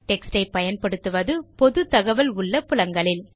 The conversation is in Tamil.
டெக்ஸ்ட் ஐ பயன்படுத்துவது பொது தகவல் உள்ள புலங்களில்